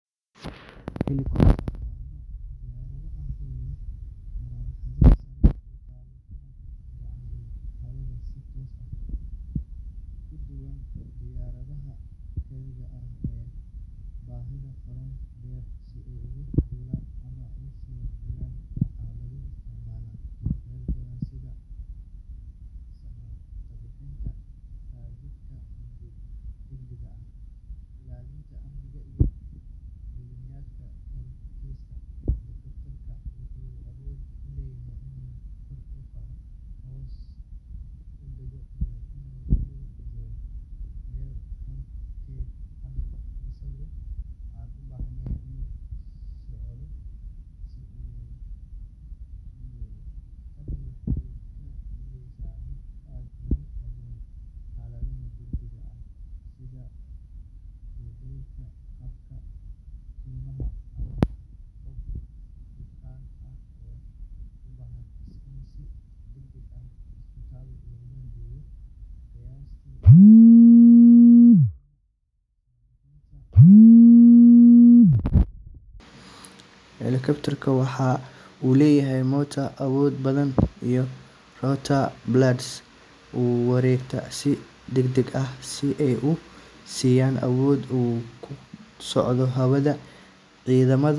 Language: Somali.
Helicopter waa nooc diyaarado ah oo leh marawaxado sare u qaada kuna hagta hawada si toos ah, taasoo ka duwan diyaaradaha caadiga ah ee u baahan garoon dheer si ay u duulaan ama u soo degaan. Waxaa lagu isticmaalaa meelo badan sida samatabbixinta, gaadiidka degdega ah, ilaalinta amniga, iyo duulimaadyada dalxiiska. Helicopter-ka wuxuu awood u leeyahay inuu kor u kaco, hoos u dago, iyo inuu dul joogo meel halkeed ah isagoo aan u baahnayn inuu socdo si uu u duulo. Tani waxay ka dhigaysaa mid aad ugu habboon xaaladaha degdegga ah sida daadadka, dabka kaymaha, ama qof bukaan ah oo u baahan in si degdeg ah isbitaal loo geeyo. Qiyaastii eighty percent hawlaha samatabbixinta ee ka dhaca meelaha fog fog waxaa lagu qabtaa iyadoo la adeegsanayo helicopters. Waxa uu leeyahay matoor awood badan iyo rotor blades u wareega si degdeg ah si ay u siiyaan awood uu ku dul socdo hawada. Ciidamada.